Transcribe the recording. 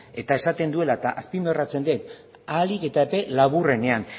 eta esaten duela eta azpimarratzen dut ahalik eta epe laburrenean